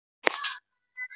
Við kunnum að meta það.